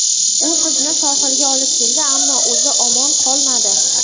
U qizni sohilga olib keldi, ammo o‘zi omon qolmadi.